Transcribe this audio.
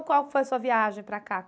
Qual foi a sua viagem para cá?